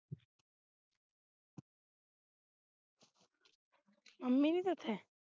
mummy ਨਹੀਂ ਸੀ ਉੱਥੇ